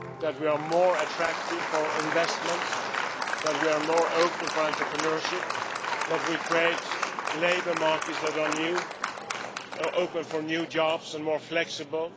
if we are more attractive for investments, if we are more open for entrepreneurship, or if we create labour markets that are open for new jobs and more flexible.